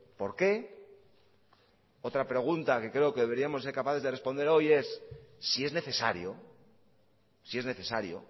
por qué otra pregunta que creo que deberíamos ser capaces de responder hoy es si es necesario si es necesario